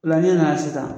O la ne nana sisan